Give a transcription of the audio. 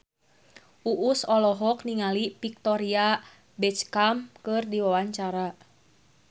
Uus olohok ningali Victoria Beckham keur diwawancara